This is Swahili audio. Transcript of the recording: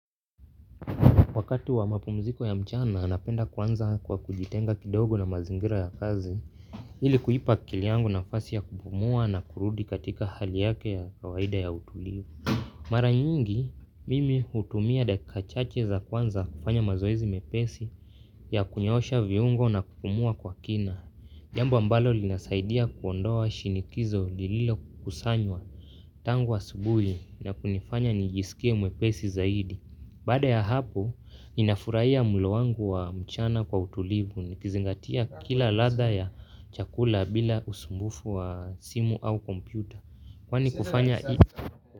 Wakati wa mapumziko ya mchana anapenda kwanza kwa kujitenga kidogo na mazingira ya kazi, ili kuipa akili yangu nafasi ya kupumua na kurudi katika hali yake ya kawaida ya utulivu. Mara nyingi, mimi hutumia dakika chache za kwanza kufanya mazoezi mepesi ya kunyoosha viungo na kupumua kwa kina. Jambu ambalo linasaidia kuondoa shinikizo lililo kusanywa tangu asubuhi na kunifanya nijisikie mwepesi zaidi. Bada ya hapo, inafurahia mulo wangu wa mchana kwa utulivu nikizingatia kila ladha ya chakula bila usumbufu wa simu au kompyuta. Kwani kufanya ii.